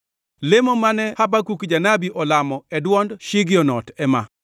Lemo mane Habakuk janabi olamo e dwond Shigionot + 3:1 Shigionot en kit wer mane Habakuk otiyogo kalamo Jehova Nyasaye. ema: